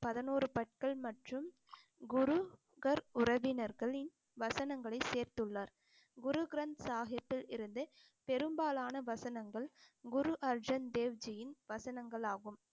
பதினோரு பற்கள் மற்றும் குரு கர் உறவினர்களின் வசனங்களை சேர்த்துள்ளார் குரு கிரந்த சாஹிப்பில் இருந்து பெரும்பாலான வசனங்கள் குரு அர்ஜன் தேவ்ஜியின் வசனங்களாகும்